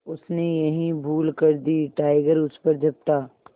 उसने यही भूल कर दी टाइगर उस पर झपटा